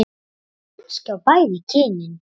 Eða kannski á bæði kynin?